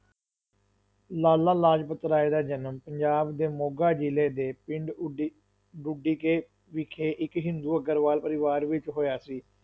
ਲਾਲਾ ਲਾਜਪਤ ਰਾਏ ਦਾ ਜਨਮ ਪੰਜਾਬ ਦੇ ਮੋਗਾ ਜਿਲੇ ਦੇ ਪਿੰਡ ਉਡੀ ਢੁੱਡੀਕੇ ਵਿਖੇ ਇੱਕ ਹਿੰਦੂ ਅਗਰਵਾਲ ਪਰਿਵਾਰ ਵਿੱਚ ਹੋਇਆ ਸੀ,